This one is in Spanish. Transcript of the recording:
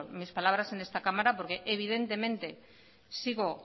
mis palabras en esta cámara porque evidentemente sigo